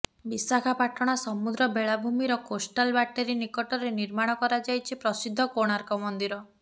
ବିଶାଖାପାଟଣା ସମୁଦ୍ର ବେଳାଭୂମିର coastal battery ନିକଟରେ ନିର୍ମାଣ କରାଯାଇଛି ପ୍ରସିଦ୍ଧ କୋଣାର୍କ ମନ୍ଦିରର